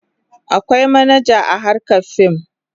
Akwai manaja a harkar fim.